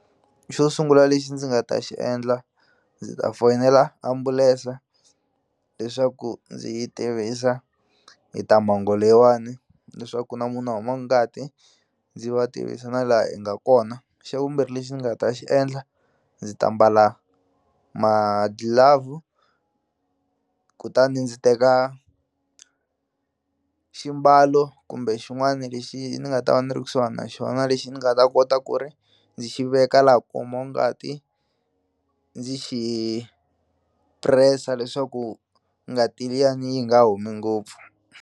Xo sungula lexi ndzi nga ta xi endla ndzi ta foyinela ambulense leswaku ndzi yi tivisa hi ta mhangu leyiwani leswaku ku na munhu a humaku ngati ndzi va tivisa na laha hi nga kona xa vumbirhi lexi ni nga ta xi endla ndzi ta mbala madlilavhu kutani ndzi teka ximbalo kumbe xin'wana lexi ni nga ta va ni ri kusuhani na xona lexi ni nga ta kota ku ri ndzi xi veka laha ku humaku ngati ndzi press-a leswaku ngati liyani yi nga humi ngopfu.